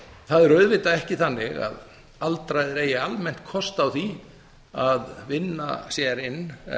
það er auðvitað ekki þannig að aldraðir eigi almennt kost á því að vinna sér inn